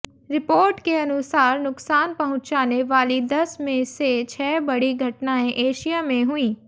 report के अनुसार नुकसान पहुंचाने वाली दस में से छह बड़ी घटनाएं एशिया में हुईं